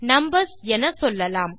numbers என சொல்லலாம்